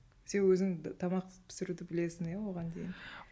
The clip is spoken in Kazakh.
сен өзің тамақ пісіруді білесің иә оған дейін